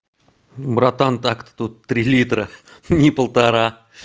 братан так та тут три литра ни полтора